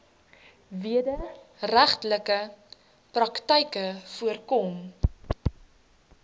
wederregtelike praktyke voorkom